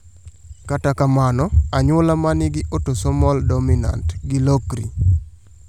Kata kamano, anyuola manigi autosomal dominant gi lokri